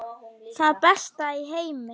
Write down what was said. Það besta í heimi.